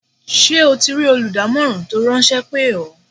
Ṣé o ti rí olùdámọ̀ràn tó ráńṣẹ́ pè ọ́?